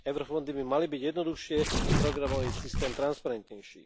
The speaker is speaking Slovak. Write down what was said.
Eurofondy by mali byť jednoduchšie, programový systém transparentnejší.